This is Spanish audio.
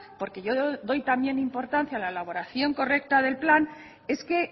porque yo doy también importancia a la elaboración correcta del plan es que